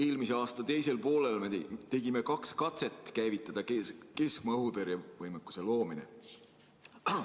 Eelmise aasta teisel poolel me tegime kaks katset käivitada keskmaa-õhutõrje võimekuse loomine.